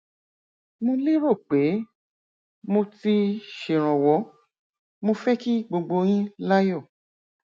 mo lérò pé mo ti ṣèrànwọ mo fẹ kí gbogbo yín láyọ